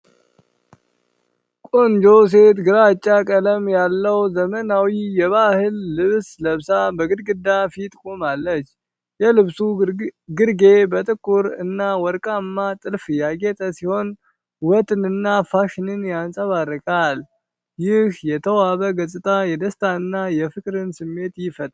ቆንጆ ሴት ግራጫ ቀለም ያለው፣ ዘመናዊ የባህል ልብስ ለብሳ በግድግዳ ፊት ቆማለች። የልብሱ ግርጌ በጥቁር እና በወርቃማ ጥልፍ ያጌጠ ሲሆን፣ ውበትንና ፋሽንን ያንጸባርቃል። ይህ የተዋበ ገጽታ የደስታና የፍቅር ስሜትን ይፈጥራል።